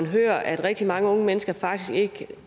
hører at rigtig mange unge mennesker faktisk